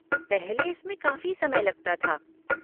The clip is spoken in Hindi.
पहले, इसमें काफी समय लगता था।